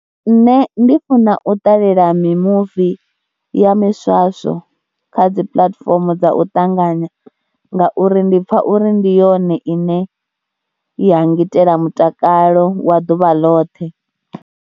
Nṋe ndi funa u ṱalela mimuvi ya miswaswo kha dzi puḽatifomo dza u ṱanganya ngauri ndi pfha uri ndi yone ine ya ngitela mutakalo wa ḓuvha ḽoṱhe.